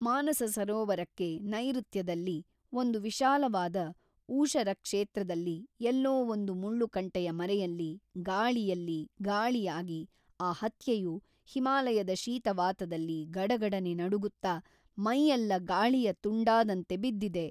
ಮಾನಸ ಸರೋವರಕ್ಕೆ ನೈಋತ್ಯದಲ್ಲಿ ಒಂದು ವಿಶಾಲವಾದ ಊಷರಕ್ಷೇತ್ರದಲ್ಲಿ ಎಲ್ಲೋ ಒಂದು ಮುಳ್ಳುಕಂಟೆಯ ಮರೆಯಲ್ಲಿ ಗಾಳಿಯಲ್ಲಿ ಗಾಳಿಯಾಗಿ ಆ ಹತ್ಯೆಯು ಹಿಮಾಲಯದ ಶೀತವಾತದಲ್ಲಿ ಗಡಗಡನೆ ನಡುಗುತ್ತಾ ಮೈಯೆಲ್ಲ ಗಾಳಿಯ ತುಂಡಾದಂತೆ ಬಿದ್ದಿದೆ.